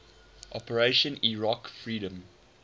operation iraqi freedom